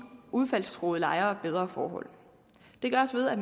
udsættelsestruede lejere bedre forhold det gøres ved at